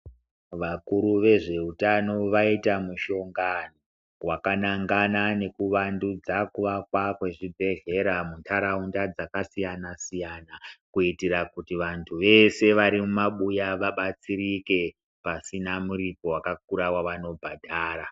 Vakuru vezveutano vaita mushongano wakanangana nekuvandudza kuvakwa kwezvibhehlera muntaraunda dzakasiyana siyana kuitira kuti vantu vese vari mumabuya vabatsirike pasina muripo wakakura wavanobhadhara.